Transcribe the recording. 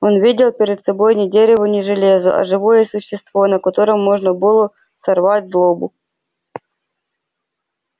он видел перед собой не дерево не железо а живое существо на котором можно было сорвать злобу